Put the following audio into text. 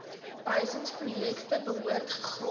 behuisingsprojekte behoort gegrond